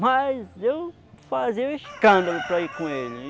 Mas eu fazia o escândalo para ir com ele.